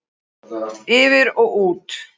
Yfir og út.